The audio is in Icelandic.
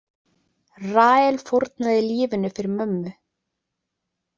Rahel fórnaði lífinu fyrir mömmu.